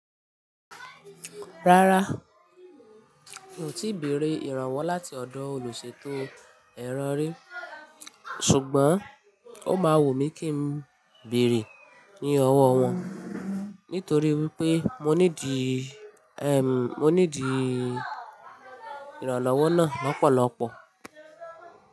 Rárá, mi ò tí ì béèrè ìrànwọ́ láti ọ̀dọ̀ olùṣètò ẹrọ́ rí, ṣùgbọ́n ó máa wù mí kí n béèrè ní ọwọ́ wọn nítorí wípé mo nídi, ẹm, mo nídi ìrànlọ́wọ́ náà lọ́pọ̀lọ́pọ̀.